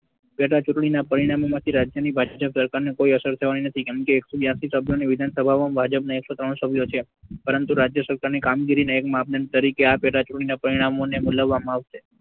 પેટા ચુંટણીના પરિણામો માંથી રાજ્યની ભાજપા સરકાર ને કોઈ અસર થવાની નથી કેમકે એકસો બ્યાસી સભ્યોની વિધાનસભામાં ભાજપના એકસો ત્રણ સભ્યો છે પરંતુ રાજ્ય સરકારની કામગીરી ના એક માપદંડ તરીકે આ પેટા ચુંટણી ના પરિણામોને મુલવવામાં આવશે.